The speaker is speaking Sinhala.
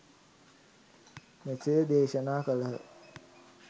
මෙසේ දේශනා කළහ.